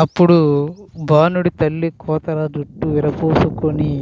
అప్పుడు బాణుడి తల్లి కోతరా జుట్టు వీరపోసుకొని